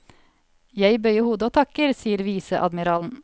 Jeg bøyer hodet og takker, sier viseadmiralen.